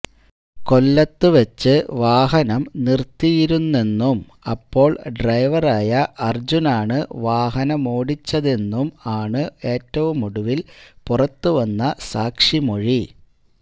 കൊല്ലത്ത് വെച്ച് വാഹനം നിര്ത്തിയിരുന്നെന്നും അപ്പോള് ഡ്രൈവറായ അര്ജുന് ആണ് വാഹനമോടിച്ചിരുന്നതെന്നും ആണ് ഏറ്റവുമൊടുവില് പുറത്തുവന്ന സാക്ഷിമൊഴി